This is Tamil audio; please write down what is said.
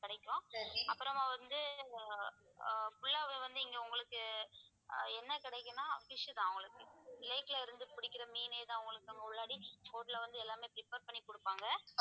கிடைக்கும் அப்புறமா வந்து ஆஹ் full ஆவே வந்து இங்க உங்களுக்கு ஆஹ் என்ன கிடைக்கும்ன்னா fish தான் உங்களுக்கு lake ல இருந்து புடிக்கிற மீனேதான் உங்களுக்கு boat ல வந்து எல்லாமே prepare பண்ணி குடுப்பாங்க